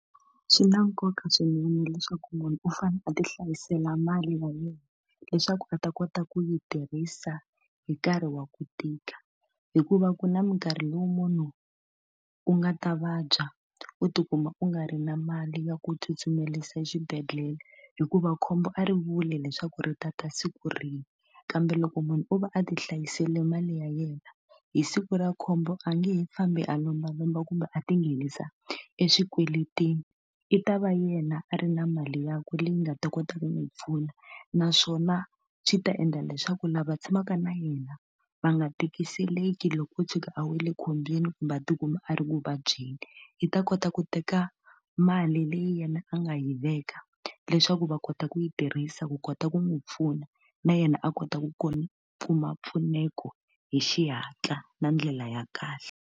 Swi na nkoka swinene leswaku munhu u fanele a ti hlayisela mali ya yena, leswaku a ta kota ku yi tirhisa hi nkarhi wa ku tika. Hikuva ku na minkarhi lowu munhu u nga ta vabya u tikuma u nga ri na mali ya ku tsutsumerisa exibedhlele, hikuva khombo a ri vuli leswaku ri tata siku rihi. Kambe loko munhu o va a ti hlayisile mali ya yena, hi siku ra khombo a nge he fambi a lombalomba kumbe a tinghenisa eswikweletini. I ta va yena a ri na mali yakwe leyi nga ta kota ku n'wi pfuna. Naswona swi ta endla leswaku lava tshamaka na yena va nga tikiseleki loko o tshuka a wele ekhombyeni kumbe a tikuma a ri ku vabyeni. I ta kota ku teka mali leyi yena a nga yi veka leswaku va kota ku yi tirhisa ku kota ku n'wi pfuna, na yena a kota ku kuma mpfuneko hi xihatla na ndlela ya kahle.